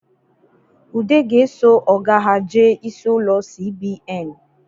Ude ga-eso ọga ha jee isi ụlọ CBN